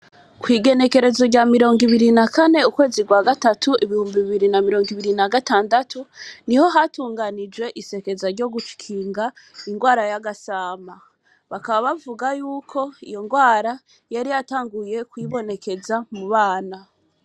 Kw’igenekerezo rya mirongo ibiri na kane ukwezi kwa gatatu ibihumbi bibiri na mirongo ibiri na gatandatu, niho hatungunijwe isekeza ryo gukinga ingwara y’agasama; bakaba bavuga yuko iyo ngwara yari yatanguye kwibonekeza mu bana.